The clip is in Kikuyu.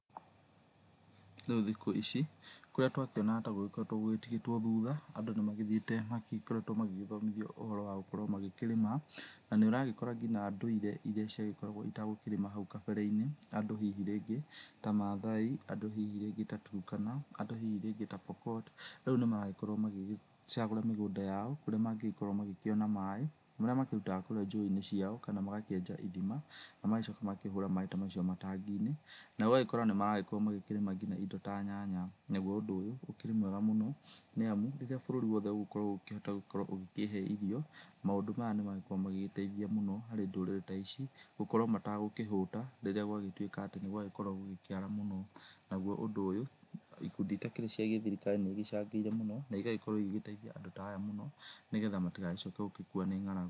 Rĩũ thikũ ici kũrĩa twakĩona ta gũgĩkoretwo gũtigĩtwo thutha, andũ nĩ magĩthiĩte magĩgĩkoretwo magĩthomithio ũhoro wa gũkorwo magĩkĩrĩma. Na nĩũragĩkora nginya ndũire irĩa ciagĩkoragwo citegũkĩrĩma hau kabere-inĩ, andũ hihi rĩngĩ ta mathai, andũ hihi rĩngĩ ta turũkana, andũ hihi rĩngĩ ta pokot, rĩũ nĩ maragĩkorwo magĩgĩcagũra mĩgũnda yao, kũrĩa mangĩgĩkorwo magĩkĩona maĩ marĩa makĩrutaga kũrĩa njũĩ-inĩ ciao, kana magakĩenja ithima na magacoka makahũra maĩ ta macio itangi-inĩ, na gũgagĩkorwo nĩ marakorwo makĩrĩma nginya indo ta nyanya. Naguo ũndũ ũyũ ũkĩri mwega mũno nĩamu, rĩrĩa bũrũri wothe ũgũkorwo ũkĩhota gũgĩkorwo ũgĩkĩhe irio, maũndũ maya nĩmagĩkorwo magĩteithia mũno harĩ ndũrĩrĩ ta ici, gũkorwo mategũkĩhũta rĩrĩa gwa gĩtuĩka atĩ nĩgwagĩkorwo gũgĩkĩara mũno. Naguo ũndũ ũyũ ikundi itakĩrĩ cia gĩthirikari nĩ igĩcangĩire mũno, na igagĩkorwo igĩgĩteithia andũ ta aya mũno, nĩgetha matigagĩcoke gũgĩkua nĩ ng'aragu.